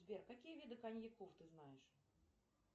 сбер какие виды коньяков ты знаешь